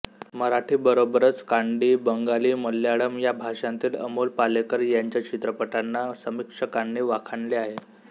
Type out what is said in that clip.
मराठी बरोबरच कानडी बंगाली मल्याळम या भाषांतील अमोल पालेकर यांच्या चित्रपटांना समीक्षकांनी वाखाणले आहे